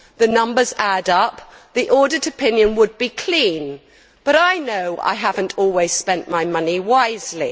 The numbers add up. The audit opinion would be clean. But I know I have not always spent my money wisely.